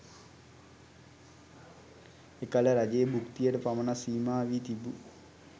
එකල රජයේ භූක්තියට පමණක් සීමා වී තිබූ